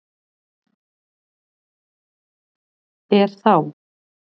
Er þá